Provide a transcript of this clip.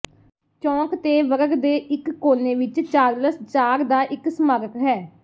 ਚੌਂਕ ਤੇ ਵਰਗ ਦੇ ਇਕ ਕੋਨੇ ਵਿਚ ਚਾਰਲਸ ਚਾਰ ਦਾ ਇਕ ਸਮਾਰਕ ਹੈ